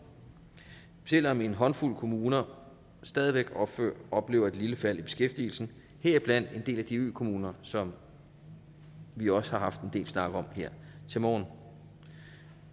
selv om en håndfuld kommuner stadig væk oplever et lille fald i beskæftigelsen heriblandt en del af de økommuner som vi også har haft en del snak om her til morgen